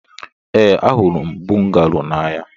Ee, ahụrụ m bungalo n'anya.